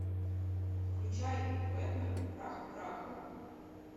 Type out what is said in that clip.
включай бэтмен прах к праху